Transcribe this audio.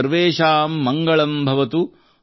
ಸರ್ವೇಶಾಂ ಮಂಗಳಂ ಭವತು